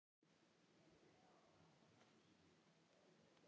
Og um ástina: Hvað er ást?